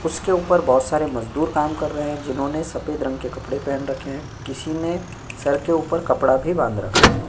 उसके ऊपर बोहोत सारे मजदूर काम कर रहे हैं जिन्होंने सफेद रंग के कपड़े पहन रखे हैं। किसी ने सर के ऊपर कपड़ा भी बांध रखा है।